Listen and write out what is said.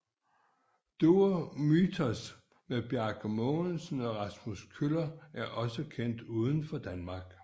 Duo Mythos med Bjarke Mogensen og Rasmus Kjøller er kendt også uden for Danmark